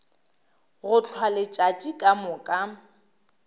go hlwa letšatši ka moka